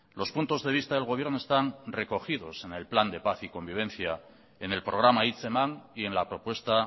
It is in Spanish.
los puntos de vista del gobierno están recogidos en el plan de paz y convivencia en el programa hitzeman y en la propuesta